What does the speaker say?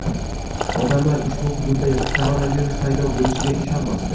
Odamlar ushbu hududda koronavirus paydo bo‘lishiga ishonmasdi.